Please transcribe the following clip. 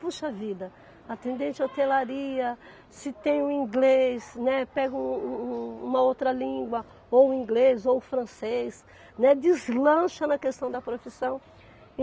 Puxa vida, atendente de hotelaria, se tem um inglês, né, pega um um um uma outra língua, ou o inglês ou o francês, né, deslancha na questão da profissão.